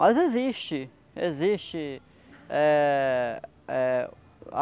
Mas existe, existe. Eh eh